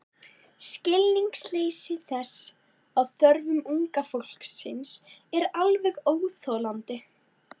Skilningsleysi þess á þörfum unga fólksins er alveg óþolandi.